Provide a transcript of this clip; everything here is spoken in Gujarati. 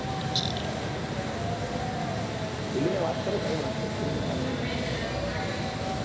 ખુલી ને વાત કરો કોઈ વાંધો નહિ ખુલી ને વાત કરો